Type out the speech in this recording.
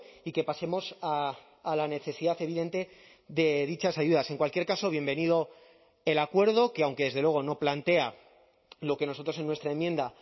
y que pasemos a la necesidad evidente de dichas ayudas en cualquier caso bienvenido el acuerdo que aunque desde luego no plantea lo que nosotros en nuestra enmienda